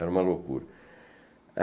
Era uma loucura.